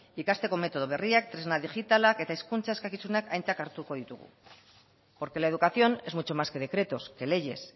ikasteko metodo berriak tresna digitalak eta hezkuntza eskakizunak aintzat hartuko ditugu porque la educación es mucho más que decretos que leyes